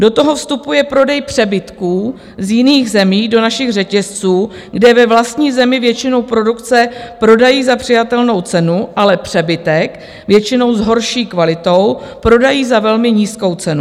Do toho vstupuje prodej přebytků z jiných zemí do našich řetězců, kde ve vlastní zemi většinu produkce prodají za přijatelnou cenu, ale přebytek, většinou s horší kvalitou, prodají za velmi nízkou cenu.